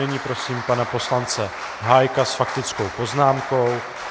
Nyní prosím pana poslance Hájka s faktickou poznámkou.